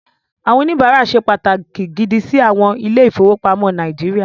Àwọn oníbàárà ṣe pàtàkì gidi sí àwọn ilé-ìfowópamọ́ Nàíjíríà.